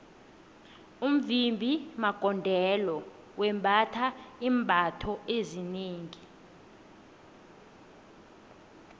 umvimbi magondelo wembatha iimbatho ezinengi